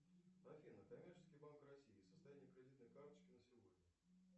афина коммерческий банк россии состояние кредитной карточки на сегодня